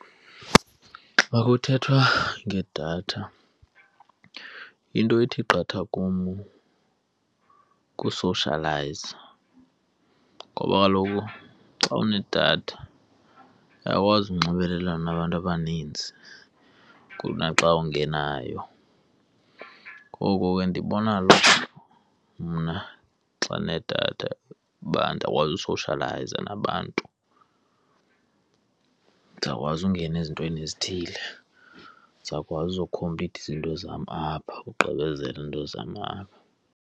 Xa kuthethwa ngedatha, into ethi qatha kum kusoshiyalayiza. Ngoba kaloku xa unedatha uyakwazi ukunxibelelana nabantu abaninzi kunaxa ungenayo ngoko ke ndibona lo mna xa ndinedatha, uba ndiyakwazi usoshiyalayiza nabantu, ndizawukwazi ungena ezintweni ezithile. Ndizawukwazi uzokhomplitha izinto zam apha, ugqibezela izinto zam apha.